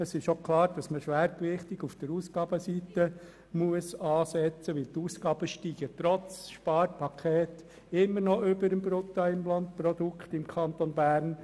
Es ist auch klar, dass wir schwergewichtig bei der Ausgabenseite ansetzen müssen, denn die Ausgaben steigen trotz des Sparpakets immer noch stärker als das Bruttoinlandprodukt des Kantons Bern.